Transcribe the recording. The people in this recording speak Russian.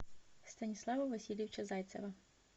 станислава васильевича зайцева